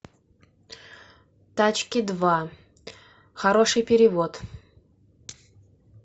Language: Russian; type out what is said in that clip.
тачки два хороший перевод